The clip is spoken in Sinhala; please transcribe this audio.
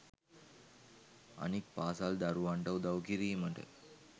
අනික් පාසල් දරුවන්ට උදව් කිරීමට